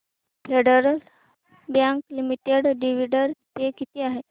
federal Bank Limited dividend pay किती आहे